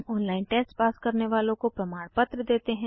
online test pass करने वालों को प्रमाणपत्र देते हैं